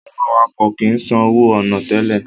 Àwọn awakọ̀ kìí san owó ọ̀nà tẹ́lẹ̀